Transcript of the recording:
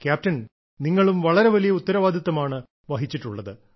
captain നിങ്ങളും വളരെ വലിയ ഉത്തരവാദിത്തമാണ് വഹിച്ചിട്ടുള്ളത്